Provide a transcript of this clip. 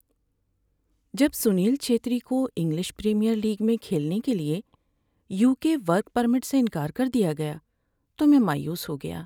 جب سنیل چھیتری کو English Premier League میں کھیلنے کے لیے یوکے ورک پرمٹ سے انکار کر دیا گیا تو میں مایوس ہو گیا۔